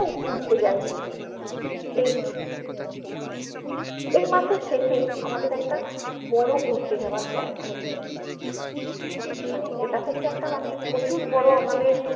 ঘুরতে যায়নি এই এই মাসের শেষেই আমাদের একটা বরো ঘুরতে যাওয়ার plan হয়েছে মানে এটা হচ্ছে একটা প্রচুর বরো আমাদের